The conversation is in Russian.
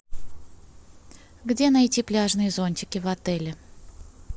где найти пляжные зонтики в отеле